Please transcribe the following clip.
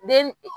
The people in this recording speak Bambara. Den